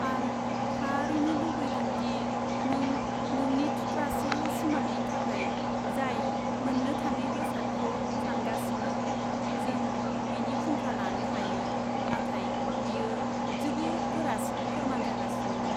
आं थारैनो लुबैदों दि नों नोंनि थुख्रासे सिमांनि थाखाय जाय मोननो थाङै बेसादखौ सानगासिनो, जों बेनि फुंखा लानो हायो, नाथाय बेयो जोबोद गोरासिन फोरमान जागासिनो।